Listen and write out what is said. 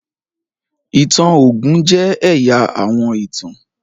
ìtàn ogun jẹ ẹya àwọn ìtàn.